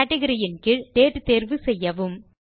category ன் கீழ் date தேர்வு செய்யவும்